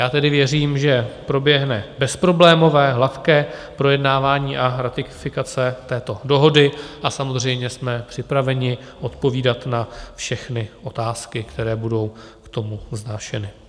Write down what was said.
Já tedy věřím, že proběhne bezproblémové, hladké projednávání a ratifikace této dohody, a samozřejmě jsme připraveni odpovídat na všechny otázky, které budou k tomu vznášeny.